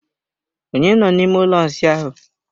Onye nọ n'ime ụlọ ịsa ahụ?